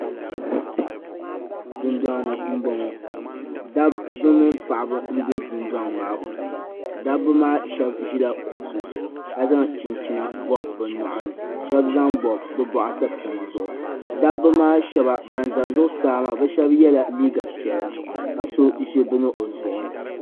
Dun fɔŋni n bɔŋɔ. dabi mini paɣibi n be dundɔŋ maa puuni. dabi maa shabi ʒila kuɣisi zuɣu. ka zaŋ chinchina bɔbi bɛ nyɔɣini shabi zaŋ bɔbi bɛ bɔɣi sapima zuɣu. dabi maa shab ban ʒa zuɣusaa maa bɛ shabi yela liiga piɛla ka so ʒi bɛni ɔzuɣuni.